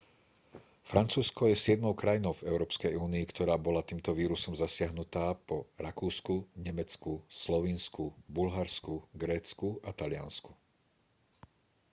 francúzsko je siedmou krajinou v európskej únii ktorá bola týmto vírusom zasiahnutá po rakúsku nemecku slovinsku bulharsku grécku a taliansku